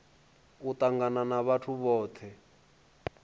u tangana na vhathu vhothe